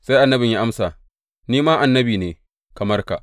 Sai annabin ya amsa, Ni ma annabi ne, kamar ka.